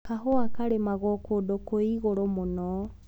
Kahũa karĩmagwa kũndũ kwĩ igũrũ mũno.